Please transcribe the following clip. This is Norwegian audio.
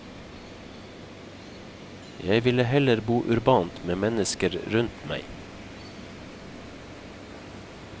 Jeg ville heller bo urbant, med mennesker rundt meg.